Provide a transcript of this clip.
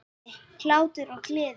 Hlátur og gleði.